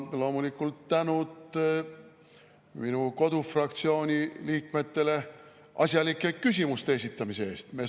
Ja loomulikult tänud minu kodufraktsiooni liikmetele asjalike küsimuste esitamise eest!